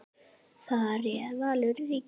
Þar réð Valur ríkjum.